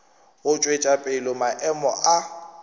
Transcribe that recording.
go tšwetša pele maemo a